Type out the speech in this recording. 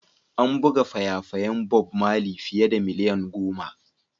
An buga faya-fayan Bob Marley fiye da miliyan goma.